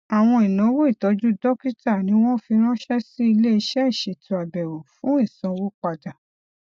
àwọn ináwó ìtọju dókítà ni wọn fi ránṣẹ sí iléiṣẹ ìṣètò àbẹwò fún ìsanwó padà